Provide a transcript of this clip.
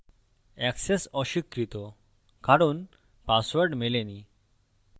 access অস্বীকৃত কারণ password মেলেনি